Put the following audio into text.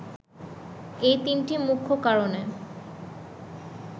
এই তিনটি মুখ্য কারণে